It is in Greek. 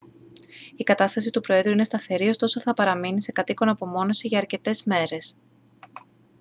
η κατάσταση του προέδρου είναι σταθερή ωστόσο θα παραμείνει σε κατ' οίκον απομόνωση για αρκετές ημέρες